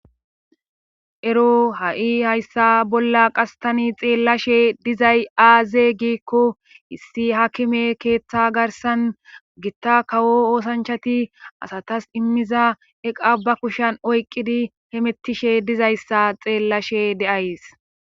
Ero ha'i hayssa bolla qastani xeellashe dizay aaze gikko issi hakime keeththa garsan gitta kawo oosanchati asatas immiza eqa ba kushan oyqqidi hemettishe dizayssa xeellashe de'ays.